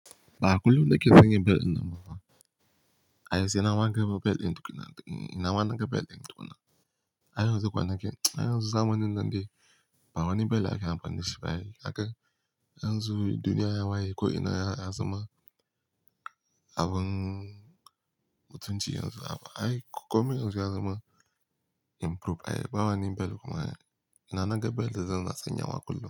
Ba a kullum nake sanya bel ɗin nan bafa. Ai ni saima na ga bel ɗin tukuna, ina na ga bel ɗin tukuna. A yanzu kwanakin, a yanzu zamanin nan dai, ba wani bel ake amfani shi ba ai. A kan yanzu duniya ya waye ko ina ya zama abin mutunci yanzu. Ai komai yanzu ya zama improve. Ai ba wani bel kuma ai ina na ga bel da zan na sanya wa kullum.